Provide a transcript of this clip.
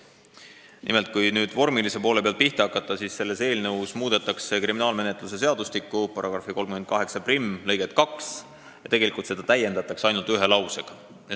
Nimelt, kui vormilise poole pealt pihta hakata, siis võib öelda, et selle eelnõuga muudetakse kriminaalmenetluse seadustiku § 381 lõiget 2, mida täiendatakse ainult ühe lausega.